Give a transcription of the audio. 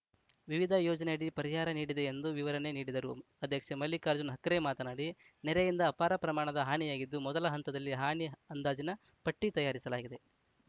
ವಿವಿಧ ಯೋಜನೆಯಡಿ ಪರಿಹಾರ ನೀಡಿದೆ ಎಂದು ವಿವರಣೆ ನೀಡಿದರು ಅಧ್ಯಕ್ಷ ಮಲ್ಲಿಕಾರ್ಜುನ ಹಕ್ರೆ ಮಾತನಾಡಿ ನೆರೆಯಿಂದ ಅಪಾರ ಪ್ರಮಾಣದ ಹಾನಿಯಾಗಿದ್ದು ಮೊದಲ ಹಂತದಲ್ಲಿ ಹಾನಿ ಅಂದಾಜಿನ ಪಟ್ಟಿತಯಾರಿಸಲಾಗಿದೆ